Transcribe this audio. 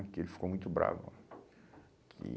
Porque ele ficou muito bravo. Que